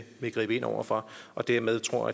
gribe ind over for og derved tror